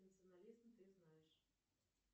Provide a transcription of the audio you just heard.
национализм ты знаешь